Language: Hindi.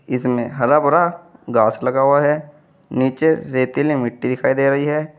इसमें हरा भरा घास लगा हुआ है नीचे रेतीली मिट्टी दिखाई दे रही है।